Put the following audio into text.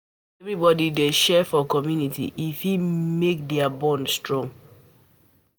If everybody dey share for community, e fit make di bond strong